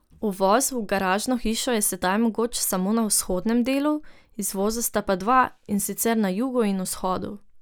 Uvoz v garažno hišo je sedaj mogoč samo na vzhodnem delu, izvoza pa sta dva, in sicer na jugu in vzhodu.